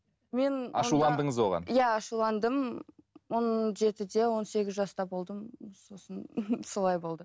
иә ашуландым он жетіде он сегіз жаста болдым сосын солай болды